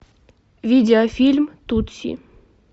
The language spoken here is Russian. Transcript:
видеофильм тутси